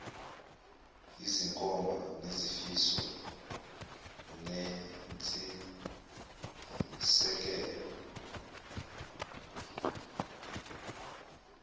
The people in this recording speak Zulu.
yizinkomba zezifiso nentshisekelo